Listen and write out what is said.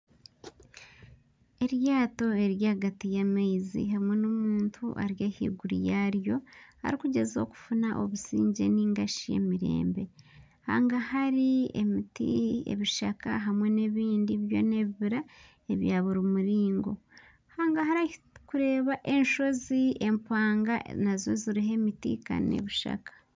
Eryato riri ahagati y'amaizi hamwe n'omuntu Ari ahaiguru yaaryo arikugyezaho kufuna obusingye hangahari emiti ebishaka hamwe nebindi byona ebibira ebya buri muringo hangari ahu turikureeba enshozi empanga nazo ziriho emiti kandi nana ebishaka